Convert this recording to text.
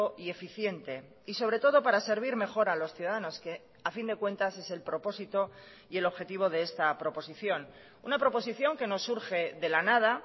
y eficiente y sobre todo para servir mejor a los ciudadanos que a fin de cuentas es el propósito y el objetivo de esta proposición una proposición que no surge de la nada